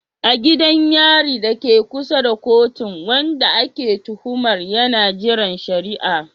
A gidan yari dake kusa da kotun, wanda ake tuhumar yana jiran shari'a.